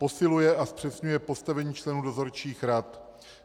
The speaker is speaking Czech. Posiluje a zpřesňuje postavení členů dozorčích rad.